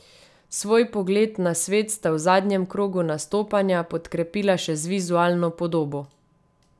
Svoj pogled na svet sta v zadnjem krogu nastopanja podkrepila še z vizualno podobo.